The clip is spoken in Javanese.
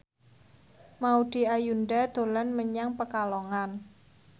Maudy Ayunda dolan menyang Pekalongan